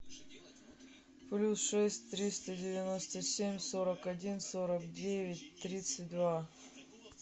плюс шесть триста девяносто семь сорок один сорок девять тридцать два